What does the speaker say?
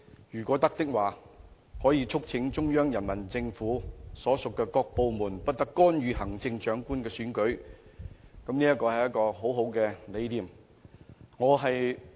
如果可以的話，本會亦可促請中央人民政府所屬各部門不得干預行政長官的選舉，我認為這無疑是一個很好的理念。